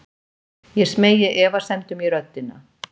Ég smeygi efasemdum í röddina.